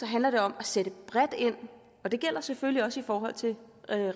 handler det om at sætte bredt ind og det gælder selvfølgelig også i forhold til